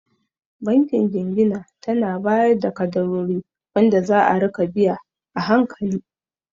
Bankin Jingina tana bayar da kaddarori wanda za'a rika biya a hankali